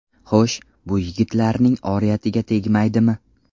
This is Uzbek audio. Xo‘sh, bu yigitlarning oriyatiga tegmaydimi?!